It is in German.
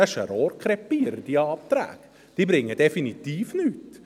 Diese Anträge sind ein Rohrkrepierer, diese bringen definitiv nichts.